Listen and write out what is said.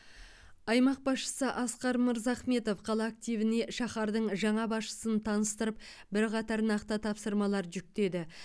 аймақ басшысы асқар мырзахметов қала активіне шаһардың жаңа басшысын таныстырып бірқатар нақты тапсырмалар жүктеді